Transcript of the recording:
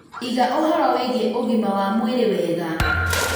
Iga ũhoro wĩgie ũgima wa mwĩrĩ wega.